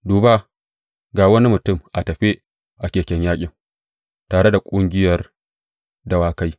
Duba, ga wani mutum tafe a keken yaƙin tare da ƙungiyar dawakai.